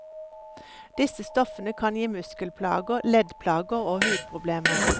Disse stoffene kan gi muskelplager, leddplager og hudproblemer.